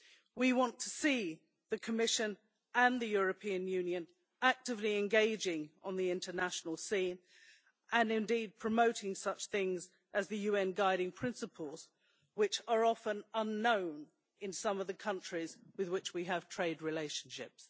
We want to see the Commission and the European Union actively engaging on the international scene and, indeed, promoting such things as the UN Guiding Principles, which are often unknown in some of the countries with which we have trade relationships.